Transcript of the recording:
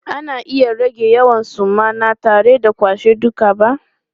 Ana iya rage yawan suma na tare da kwashe duka ba.